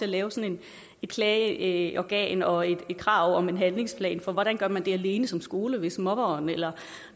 at lave sådan et klageorgan og et krav om en handlingsplan for hvordan gør man det alene som skole hvis mobberen eller